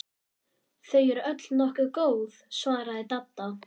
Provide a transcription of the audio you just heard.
Þau eru öll nokkuð góð svaraði Dadda.